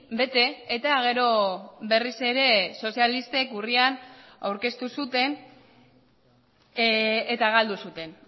bete eta gero berriz ere sozialistek urrian aurkeztu zuten eta galdu zuten